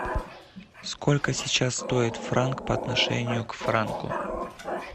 сколько сейчас стоит франк по отношению к франку